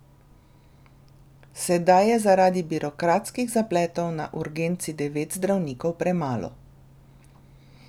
Sedaj je zaradi birokratskih zapletov na urgenci devet zdravnikov premalo.